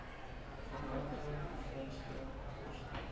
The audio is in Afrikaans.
vakante befondsde poste